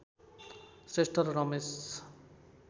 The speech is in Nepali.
श्रेष्ठ र रमेश